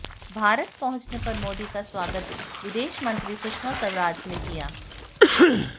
भारत पहुंचने पर मोदी का स्वागत विदेश मंत्री सुषमा स्वराज ने किया